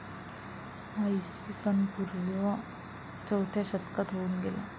हा इसवी सनपूर्व चौथ्या शतकात होऊन गेला.